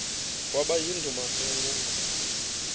kwaba yindumasi enkulu